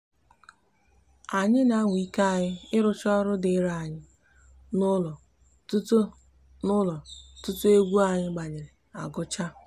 anyi n'anwa ike anyi irucha oru diri anyi n'ulo tutu anyi n'ulo tutu egwu anyi gbanyere agucha